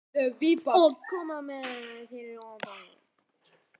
Og hvernig komið er fyrir Oddi litla núna.